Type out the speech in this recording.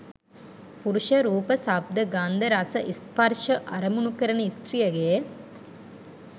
පුරුෂ, රූප, ශබ්ද, ගන්ධ, රස, ස්පර්ශ, අරමුණු කරන ස්ත්‍රියගේ